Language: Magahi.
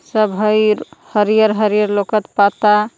सब हई हरियर हरियर लौकत पात्ता।